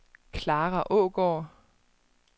Clara Aagaard